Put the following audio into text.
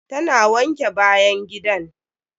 Ta na wanke bayan gidan.